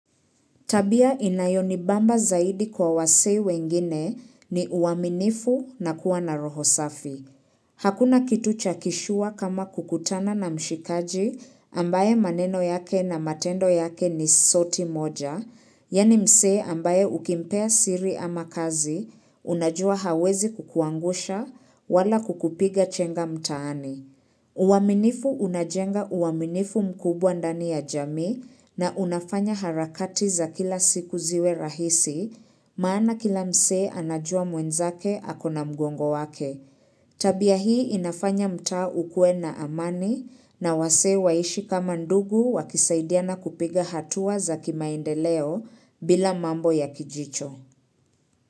Tabia inayonibamba zaidi kwa wasei wengine ni uaminifu na kuwa na roho safi. Hakuna kitu chakishua kama kukutana na mshikaji ambaye maneno yake na matendo yake ni soti moja, yani mse ambaye ukimpea siri ama kazi, unajua hawezi kukuangusha wala kukupiga chenga mtaani. Uwaminifu unajenga uwaminifu mkubwa ndani ya jami na unafanya harakati za kila siku ziwe rahisi, maana kila mse anajua mwenzake akona mgongo wake. Tabia hii inafanya mtaa ukue na amani na wase waishi kama ndugu wakisaidiana kupiga hatua za kimaendeleo bila mambo ya kijicho.